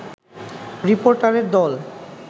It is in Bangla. রিপোর্টারের দল